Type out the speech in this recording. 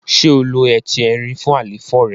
ṣe o ló Ẹti Ẹrin fún àléfọ rẹ?